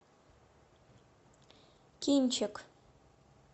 кинчик